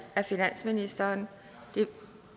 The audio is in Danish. af finansministeren de er